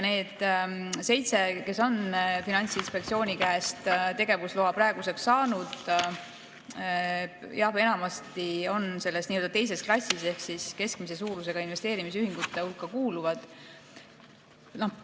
Need seitse, kes on praeguseks Finantsinspektsiooni käest tegevusloa saanud, on enamasti selles teises klassis ehk kuuluvad keskmise suurusega investeerimisühingute hulka.